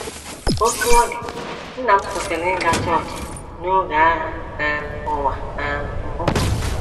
Otú ọ dị, nna m kwụsịrị ịga chọọchị n’oge Agha um Ụwa um Mbụ.